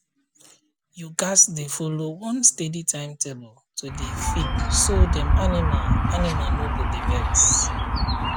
you gats dey follow one steady timetable to dey feed so dem animal animal no go dey vex